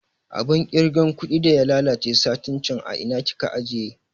Abun kirga kuɗi da ya lalace satin can a ina kika ajiye?